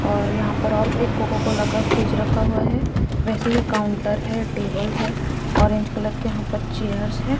और यहाँ पर और एक कोकोकोला का फ्रिज रखा हुआ है वैसे ही काउंटर है टेबल है ऑरेंज कलर के यहाँ पर चेयर्स है।